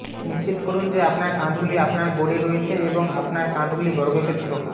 নিশ্চিত করুন যে আপনার কাঁধগুলি আপনার বোর্ডে রয়েছে এবং আপনার কাঁধগুলি বর্গক্ষেত্র